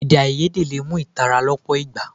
Èdèáiyedé lè mú ìtàlára lọ́pọ̀ ìgbà.